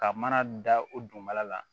Ka mana da o dugumala la